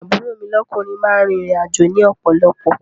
Àbúrò mi lọ́kúnrin máa ń rìn ìrìn àjò ni ọ̀pọ̀lọ̀pọ̀